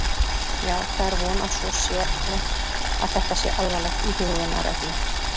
Já, það er von að svo sé hermt að þetta sé alvarlegt íhugunarefni.